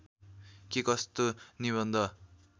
के कस्तो निबन्ध